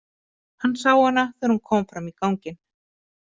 Hann sá hana þegar hún kom fram í ganginn.